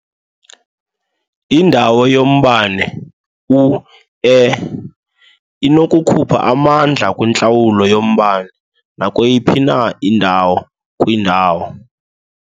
Indawo yombane u-E inokukhupha amandla kwintlawulo yombane nakweyiphi na indawo kwiindawo.